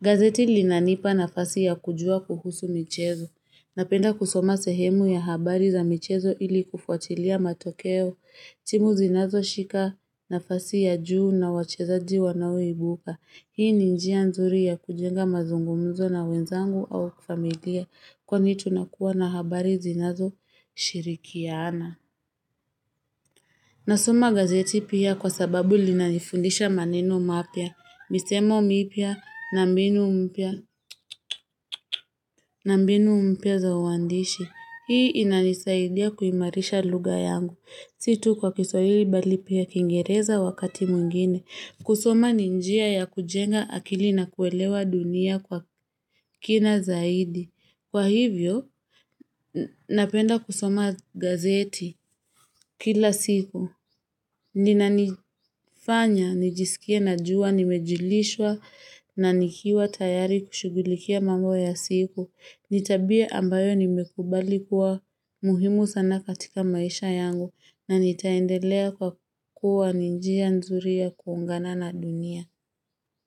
Gazeti linanipa nafasi ya kujua kuhusu michezo. Napenda kusoma sehemu ya habari za michezo ili kufuatilia matokeo, timu zinazoshika nafasi ya juu na wachezaji wanao ibuka. Hii ni njia nzuri ya kujenga mazungumuzo na wenzangu au familia kwani tunakuwa na habari zinazoshirikiana. Nasoma gazeti pia kwa sababu linanifundisha maneno mapya, misemo mipya na mbinu mpya na mbinu mpya za uandishi. Hii inanisaidia kuimarisha lugha yangu. Si tu kwa kiswahili bali pia kingereza wakati mwingine. Kusoma ni njia ya kujenga akili na kuelewa dunia kwa kina zaidi. Kwa hivyo, napenda kusoma gazeti kila siku. Linanifanya, nijisikie najua, nimejulishwa na nikiwa tayari kushughulikia mambo ya siku. Ni tabia ambayo nimekubali kuwa muhimu sana katika maisha yangu na nitaendelea kwa kuwa ni njia nzuri ya kuungana na dunia.